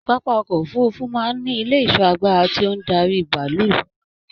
Pápá ọkọ òfurùnfu máa n ní ilé ìṣọ́ àgbàrá tí o n darí bàálù.